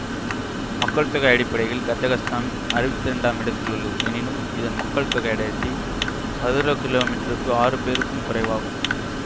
மக்கள்தொகை அடிப்படையில் கசக்ஸ்தான் அருவத்தி ரெண்டாம் இடத்திலுள்ளது எனினும் இதன் மக்கள்தொகை அடர்த்தி சதுரக்கிலோமீற்றருக்கு ஆறு பேருக்கும் குறைவாகும்